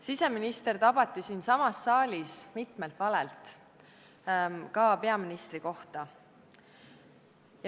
Siseminister tabati siinsamas saalis mitmelt valelt, ka peaministri kohta esitatud valelt.